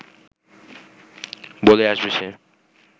বলে আসবে সে